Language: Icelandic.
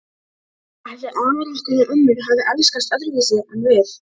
Ætli afar okkar og ömmur hafi elskast öðruvísi en við?